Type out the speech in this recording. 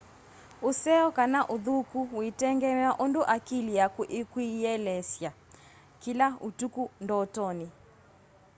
useo kana uthuku witengemea undu akili yaku ikwiyielesya kila utuku ndotoni